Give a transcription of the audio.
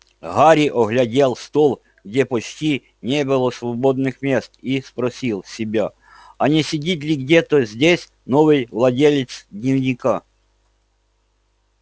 гарри оглядел стол где почти не было свободных мест и спросил себя а не сидит ли где-то здесь новый владелец дневника